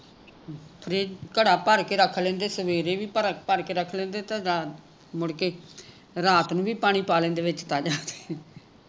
ਘੜਾ ਭਰ ਕੇ ਰੱਖ ਲੈਂਦੇ ਸਵੇਰੇ ਵੀ ਭਰ ਭਰ ਕੇ ਰੱਖ ਲੈਂਦੇ ਤੇ ਮੁੜਕੇ ਰਾਤ ਨੂੰ ਵੀ ਪਾਣੀ ਪਾ ਲੈਂਦੇ ਵਿਚ ਤਾਜਾ ਤੇ